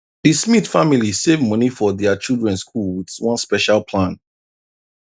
the smith family save money for their children school with one special plan